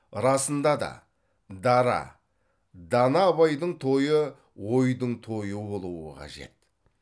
расында да дара дана абайдың тойы ойдың тойы болуы қажет